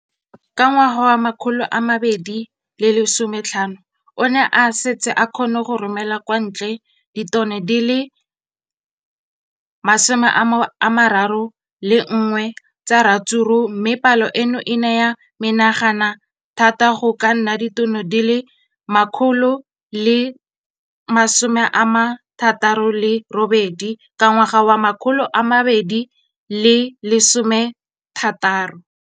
Ka ngwaga wa 2015, o ne a setse a kgona go romela kwa ntle ditone di le 31 tsa ratsuru mme palo eno e ne ya menagana thata go ka nna ditone di le 168 ka ngwaga wa 2016.